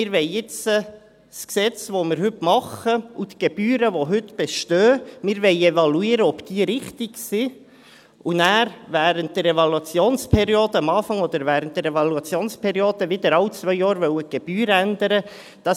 Wir wollen evaluieren, ob das Gesetz, das wir heute machen und die Gebühren, die heute bestehen, richtig sind, um danach, am Anfang oder während der Evaluationsperiode, wieder alle zwei Jahre die Gebühren ändern zu wollen.